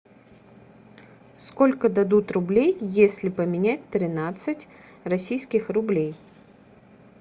сколько дадут рублей если поменять тринадцать российских рублей